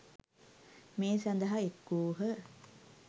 මේ සඳහා එක් වූහ.